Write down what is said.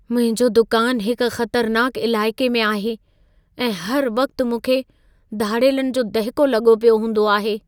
मुंहिंजो दुकानु हिक ख़तरनाकु इलाइक़े में आहे ऐं हर वक़्ति मूंखे धाड़ेलनि जो दहिको लॻो पियो हूंदो आहे।